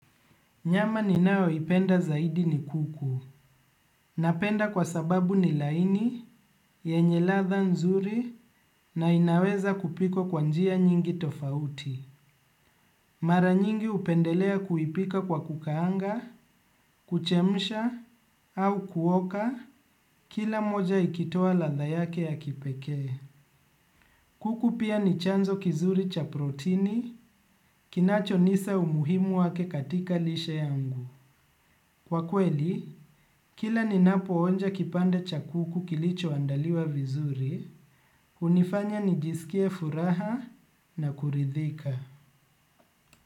Nyama ninayoipenda zaidi ni kuku. Napenda kwa sababu ni laini, yenye ladha nzuri, na inaweza kupikow kwa njia nyingi tofauti. Mara nyingi hupendelea kuipika kwa kukaanga, kuchemsha, au kuoka. Kila moja ikitoa ladha yake ya kipekee. Kuku pia ni chanzo kizuri cha protini, kinacho nisa umuhimu wake katika lishe yangu. Kwa kweli, kila ninapoonja kipande cha kuku kilichoandaliwa vizuri, hunifanya nijisikie furaha na kuridhika.